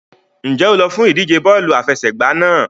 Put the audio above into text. Ǹjẹ́ o lọ fún ìdíje bọ́ọ̀lù àfẹsẹ̀gbá náà?